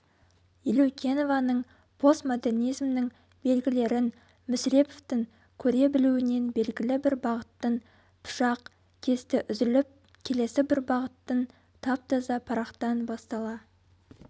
елеукенованың постмодернизмнің белгілерін мүсіреповтің көре білуінен белгілі бір бағыттың пышақ кесті үзіліп келесі бір бағыттың тап-таза парақтан бастала